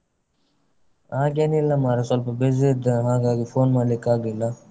ಹಾಗೇನಿಲ್ಲ ಮಾರೆ ಸ್ವಲ್ಪ busy ಇದ್ದೆ ಹಾಗಾಗಿ phone ಮಾಡ್ಲಿಕ್ಕಾಗ್ಲಿಲ್ಲ.